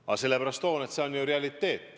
Aga sellepärast toon, et see on ju reaalsus.